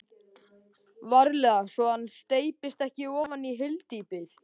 VARLEGA svo hann steypist ekki ofan í hyldýpið.